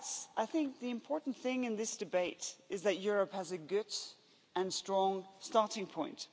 I think the important thing in this debate is that Europe has a good and strong starting point.